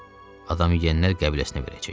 Adam yeyənlər qəbiləsinə verəcəyik.